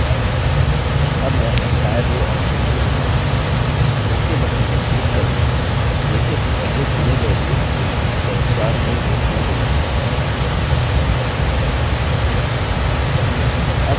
अब मैं entire row option चुनूँगा ok button पर click करें देखें कि पहले चुनें गए रोव्स के ऊपर 4 नई रोव्स जुड़ गई हैं